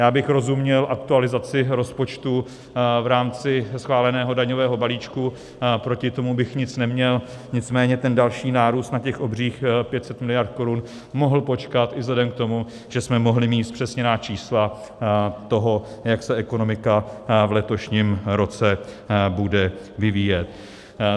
Já bych rozuměl aktualizaci rozpočtu v rámci schváleného daňového balíčku, proti tomu bych nic neměl, nicméně ten další nárůst na těch obřích 500 miliard korun mohl počkat i vzhledem k tomu, že jsme mohli mít zpřesněná čísla toho, jak se ekonomika v letošním roce bude vyvíjet.